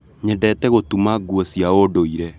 Nyendete gũtuma nguo cia ũndũire